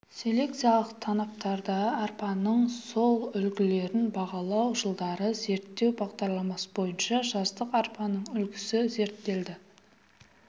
селекциялық танаптарда арпаның сортүлгілерін бағалау жылдары зерттеу бағдарламасы бойынша жаздық арпаның үлгісі зерттелді